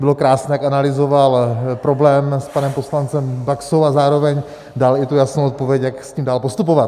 Bylo krásné, jak analyzoval problém s panem poslancem Baxou, a zároveň dal i tu jasnou odpověď, jak s tím dál postupovat.